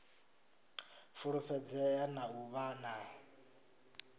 fulufhedzea na u vha na